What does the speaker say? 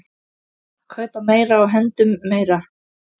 Kaupa meira og hendum meiru.